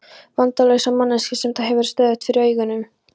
Vandalausa manneskju sem það hefur stöðugt fyrir augunum.